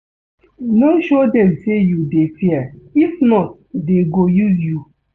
No show dem say you dey fear if not dey go use you